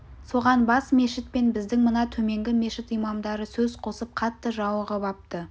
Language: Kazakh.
соған бас мешіт пен біздің мына төменгі мешіт имамдары сөз қосып қатты жауығып апты